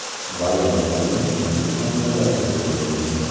G‘alaba goli so‘nggi soniyalarda kiritildi.